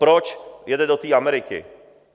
Proč jede to té Ameriky?